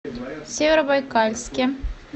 северобайкальске